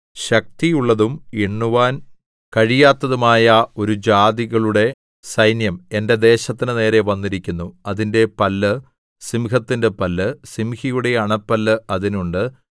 ശക്തിയുള്ളതും എണ്ണുവാൻ കഴിയാത്തതുമായ ഒരു ജാതികളുടെ സൈന്യം എന്റെ ദേശത്തിന്റെ നേരെ വന്നിരിക്കുന്നു അതിന്റെ പല്ല് സിംഹത്തിന്റെ പല്ല് സിംഹിയുടെ അണപ്പല്ല് അതിനുണ്ട്